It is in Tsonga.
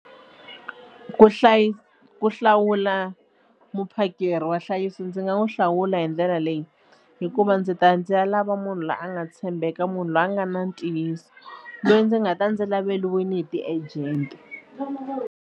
Ku ku hlawula muphakeri wa nhlayiso ndzi nga n'wi hlawula hi ndlela leyi hikuva ndzi ta ya ndzi ya lava munhu loyi a nga tshembeka munhu loyi a nga na ntiyiso loyi ndzi nga ta ndzi laveriwile hi ti-agent.